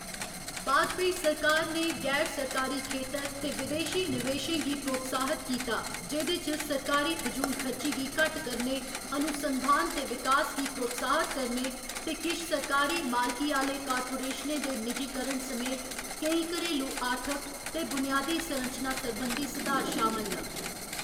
वाजपेयी सरकार ने गैर सरकारी खेतर ते विदेशी निवेशें गी प्रोत्साह्‌त कीता जेह्‌दे च सरकारी फजूलखर्ची गी घट्ट करने, अनुसंधान ते विकास गी प्रोत्साह्‌त करने ते किश सरकारी मालकी आह्‌ले कार्पोरेशनें दे निजीकरण समेत केईं घरेलू आर्थिक ते बुनियादी संरचना संबंधी सुधार शामल न।